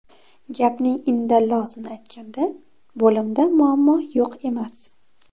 Gapning indallosini aytganda, bo‘limda muammo yo‘q emas.